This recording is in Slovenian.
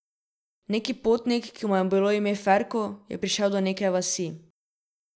Neki potnik, ki mu je bilo ime Ferko, je prišel do neke vasi.